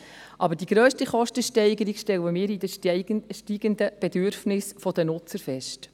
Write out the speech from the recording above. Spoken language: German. Aber die grösste Kostensteigerung stellen wir durch die steigenden Bedürfnisse der Nutzer fest.